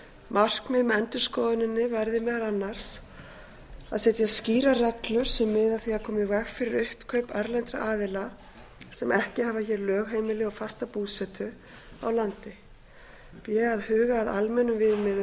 markmið með endurskoðuninni verði meðal annars a að setja skýrar reglur sem miði að því að koma í veg fyrir uppkaup erlendra aðila sem ekki hafa hér lögheimili og fasta búsetu á landi b að huga að almennum